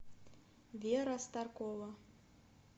вера старкова